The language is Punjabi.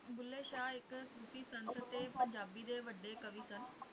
ਬੁੱਲੇ ਸ਼ਾਹ ਇੱਕ ਸੂਫੀ ਸੰਤ ਤੇ ਪੰਜਾਬੀ ਦੇ ਵੱਡੇ ਕਵੀ ਸਨ